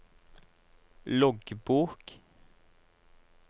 loggbok